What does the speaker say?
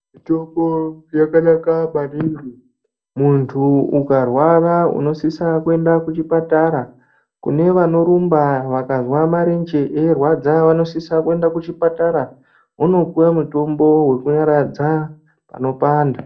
Mitombo yakanaka maningi muntu ukarwara unosisa kuenda kuchipatara nevanorumba vakazwa marenje eirwadza vanosisa kuenda kuchipatara vondopuwa mutombo wekunyaradza panopanda.